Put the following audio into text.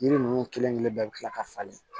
Yiri ninnu kelen kelen bɛɛ bɛ tila ka falen